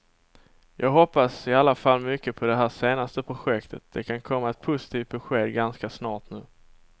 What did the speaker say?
Jag hoppas i alla fall mycket på det här senaste projektet, det kan komma ett positivt besked ganska snart nu.